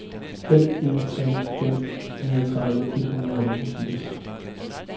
fem en tre fem niogtredive et hundrede og enogfirs